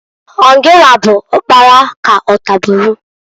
Ọ gịnwa bụ ọkpara k'ọtaburu?